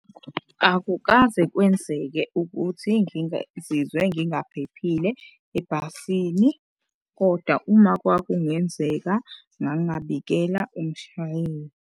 Akukaze kwenzeke ukuthi ngingaphephile ebhasini kodwa uma kwakungenzeka ngangingabikela umshayeli.